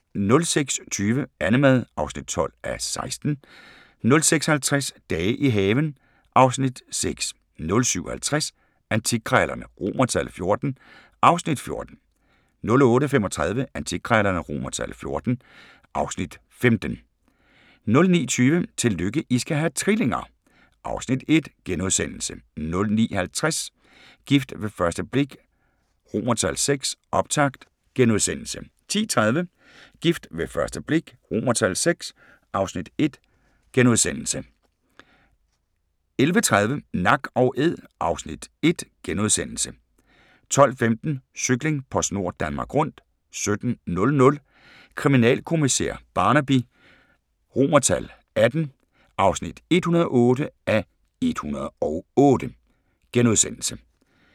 06:20: Annemad (12:16) 06:50: Dage i haven (Afs. 6) 07:50: Antikkrejlerne XIV (Afs. 14) 08:35: Antikkrejlerne XIV (Afs. 15) 09:20: Tillykke, I skal have trillinger! (Afs. 1)* 09:50: Gift ved første blik VI – optakt * 10:30: Gift ved første blik VI (Afs. 1)* 11:30: Nak & Æd (Afs. 1)* 12:15: Cykling: PostNord Danmark Rundt 17:00: Kriminalkommissær Barnaby XVIII (108:108)*